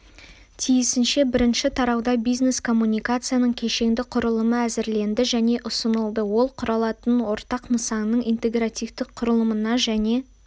тиісінше бірінші тарауда бизнес-коммуникацияның кешенді құрылымы әзірленді және ұсынылды ол құрылатын ортақ нысанның интегративтік құрылымына және